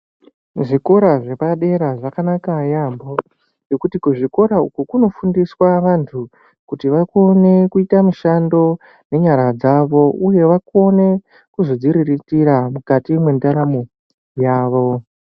Zvikora zvepadera zvakanaka yaambo ngekuti kuzvikora uku kunofundiswa vantu kuti vakone kuita mushando nenyara dzavo uye vakone kuzodziriritira mwukati mwendaramo dzavo.